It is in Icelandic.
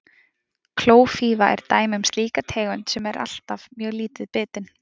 klófífa er dæmi um slíka tegund sem er alltaf mjög lítið bitin